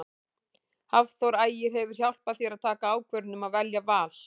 Hafþór Ægir hefur hjálpað þér að taka ákvörðun um að velja Val?